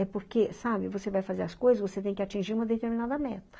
É porque, sabe, você vai fazer as coisas, você tem que atingir uma determinada meta.